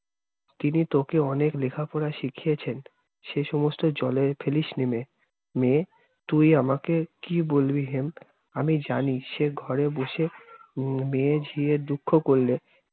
তিনি তোকে অনেক লিখা-পড়া শিখিয়েছেন। সে সমস্ত জলে ফেলিসনে মেয়ে। মেয়ে তুই আমাকে কি বলবি হেম আমি জানি সে ঘরে বসে উম মেয়ে ঝিয়ে দুঃখ করলে